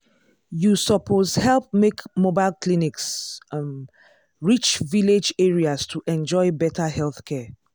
you suppose help make mobile clinics um reach village areas to enjoy better healthcare.